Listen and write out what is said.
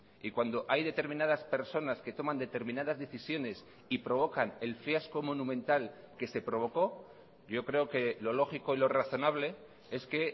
y cuando hay determinadas personas que toman determinadas decisiones y provocan el fiasco monumental que se provocó yo creo que lo lógico y lo razonable es que